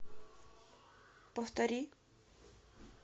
повтори